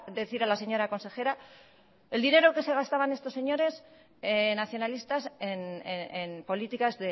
decir a la señora consejera el dinero que se gastaban estos señores nacionalistas en políticas